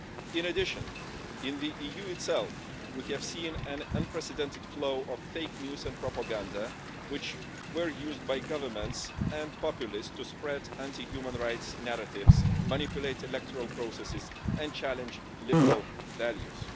In addition, in the EU itself, we have seen an unprecedented flow of fake news and propaganda, which have been used by governments and populists to spread anti-human-rights narratives, manipulate electoral processes and challenge liberal values.